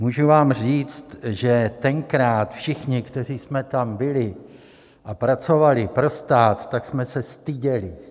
Můžu vám říct, že tenkrát všichni, kteří jsme tam byli a pracovali pro stát, tak jsme se styděli.